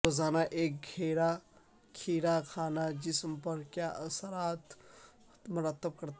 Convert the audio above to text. روزانہ ایک کھیرا کھانا جسم پر کیا اثرات مرتب کرتا ہے